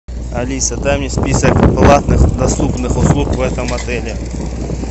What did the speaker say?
алиса дай мне список платных доступных услуг в этом отеле